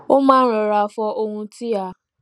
ó máa n rọra fọ ohun tí a